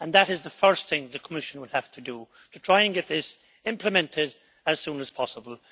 That is the first thing the Commission will have to do, to try and get this implemented as soon as possible.